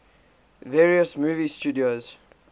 various movie studios